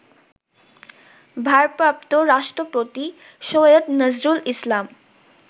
ভারপ্রাপ্ত রাষ্ট্রপতি সৈয়দ নজরুল ইসলাম